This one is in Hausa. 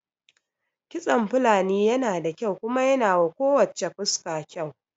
Kitson Fulani yana da kyau kuma yanawa ko wacce fuska kyau